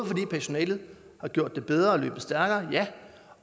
fordi personalet har gjort det bedre og er stærkere